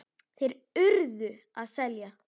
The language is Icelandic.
Þeir URÐU að selja.